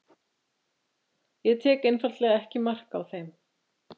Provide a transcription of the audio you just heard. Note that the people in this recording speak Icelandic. ég tek einfaldlega ekki mark á þeim.